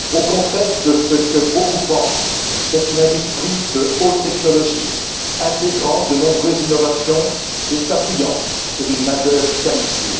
Contrairement à ce que beaucoup pensent, c'est une industrie de haute technologie, intégrant de nombreuses innovations et s'appuyant sur une main d'œuvre qualifiée.